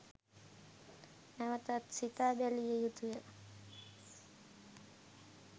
නැවතත් සිතා බැලිය යුතුය